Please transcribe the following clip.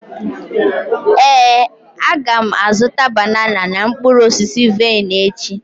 Éè, aga m azụta banana na mkpụrụ osisi vaịn echi